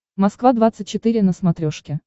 москва двадцать четыре на смотрешке